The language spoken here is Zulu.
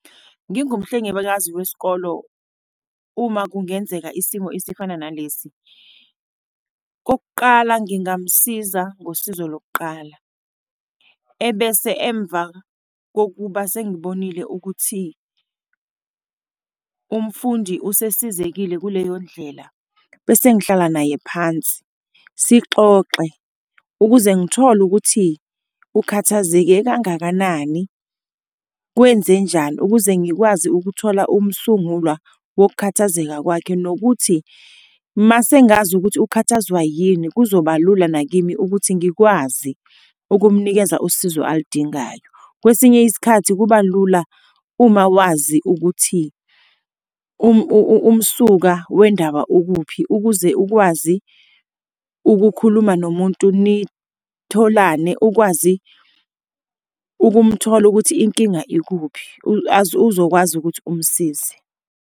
Ngingumhlengikazi wesikolo, uma kungenzeka isimo esifana nalesi, kokuqala, ngingamusiza ngosizo lokuqala, ebese emva kokuba sengibonile ukuthi ube umfundi usesizekile kuleyo ndlela, bese ngihlala naye phansi, sixoxe, ukuze ngithole ukuthi ukhathazeke kangakanani. Kwenzenjani? Ukuze ngikwazi ukuthola umsungulwa wokukhathazeka kwakhe, nokuthi mase ngazi ukuthi ukhathazwe yini kuzoba lula nakimi ukuthi ngikwazi ukumunikeza usizo aludingayo. Kwesinye isikhathi kuba lula uma wazi ukuthi umsuka wendaba ukuphi, ukuze ukwazi ukukhuluma nomuntu, nitholane, ukwazi ukumthola ukuthi inkinga ikuphi, uzokwazi ukuthi umsize.